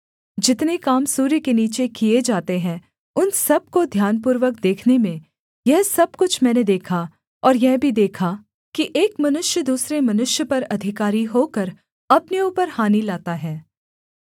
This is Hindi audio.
जितने काम सूर्य के नीचे किए जाते हैं उन सब को ध्यानपूर्वक देखने में यह सब कुछ मैंने देखा और यह भी देखा कि एक मनुष्य दूसरे मनुष्य पर अधिकारी होकर अपने ऊपर हानि लाता है